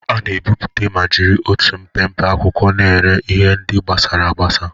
A na-ebipụta ma jiri otu mpempe akwụkwọ na-ere ihe ndị gbasasịrị agbasa.